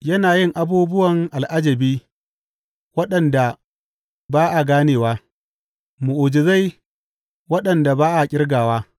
Yana yin abubuwan al’ajabi waɗanda ba a ganewa, mu’ujizai waɗanda ba a ƙirgawa.